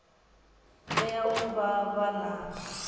tea u vha vha na